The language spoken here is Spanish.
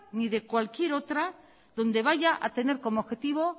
ni de cualquier otra donde vaya a tener como objetivo